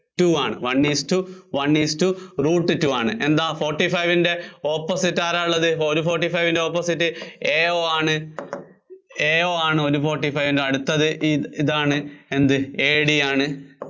two ആണ്. one isto one isto root two ആണ്. എന്താ forty five ന്‍റെ opposite ആരാ ഉള്ളത്? ഒരു forty five ന്‍റെ opposite AO ആണ്. AO ആണ് ഒരു forty five ന്‍റെ അടുത്തത് ഇതാണ് എന്ത് AD ആണ്.